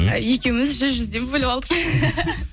екеуміз жүз жүзден бөліп алдық